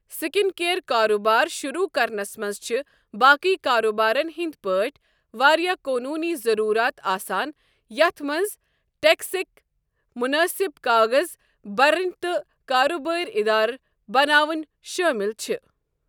Skin کِیر کاروبار شروٗع کرنَس منٛز چھِ باقٕے کاروبارن ہٕنٛدۍ پٲٹھۍ واریٛاہ قوٗنوٗنی ضروٗرات آسان یَتھ منٛز ٹیکسٕکۍ منٲسِب کاغذ برٕنۍ تہٕ کاروبٲری اِدار بناون شٲمل چھ۔